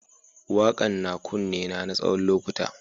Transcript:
Wakan na kunne na tsawon lokuta.